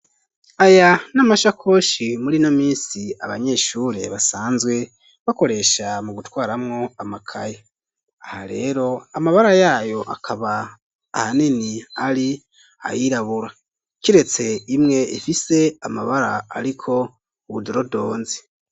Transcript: Aya n'amashakoshi murino misi abanyeshure basanzwe bakoresha mu gutwaramwo amakaye ,aha rero amabara yayo akaba ahanini ari ayirabura kiretse imwe ifise amabara ariko ubu dorodonzi.